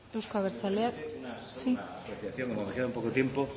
euzko abertzaleak sí simplemente una apreciación como me queda un poco de tiempo